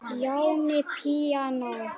Stjáni píanó